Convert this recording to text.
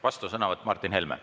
Vastusõnavõtt, Martin Helme.